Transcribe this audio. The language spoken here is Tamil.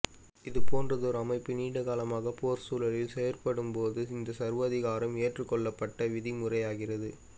இது போன்றதோர் அமைப்பு நீண்ட காலமாக போர் சூழுலில் செயற்படும் போது இந்த சர்வாதிகாரம் ஏற்றுக் கொள்ளப்பட்ட விதி முறையாகிறது